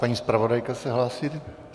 Paní zpravodajka se hlásí.